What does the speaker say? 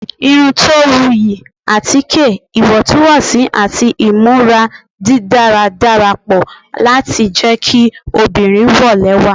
irun to wuyi, atike iwọntunwọnsi ati imura didara darapọ lati jẹ ki obinrin wo lẹwa